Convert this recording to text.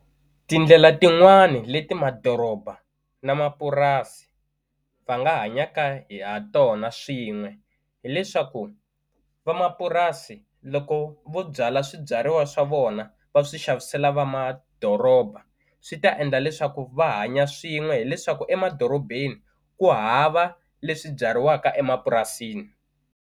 Tindlela tin'wani leti madoroba na mapurasi va nga hanyaka ha tona swin'we hileswaku va mapurasi loko vo byala swibyariwa swa vona va swi xavisela va madoroba swi ta endla leswaku va hanya swin'we hileswaku emadorobeni ku hava leswi byariwaka emapurasini.